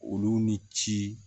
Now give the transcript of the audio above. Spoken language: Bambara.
Olu ni ci